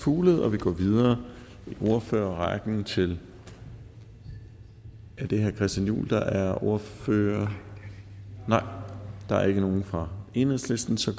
fuglede og vi går videre i ordførerrækken til er det herre christian juhl der er ordfører nej der er ikke nogen fra enhedslisten så